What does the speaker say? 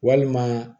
Walima